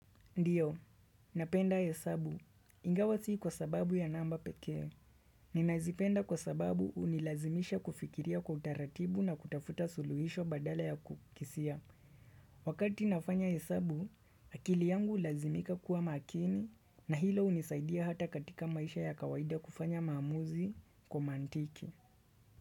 Ndiyo, napenda hesabu. Ingawa sii kwa sababu ya namba pekee. Ninazipenda kwa sababu unilazimisha kufikiria kwa utaratibu na kutafuta suluhisho badala ya kukisia. Wakati nafanya hesabu, akili yangu hulazimika kuwa makini na hilo unisaidia hata katika maisha ya kawaida kufanya maamuzi kwa mantiki.